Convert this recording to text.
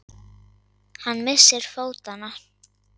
Hann missir fótanna.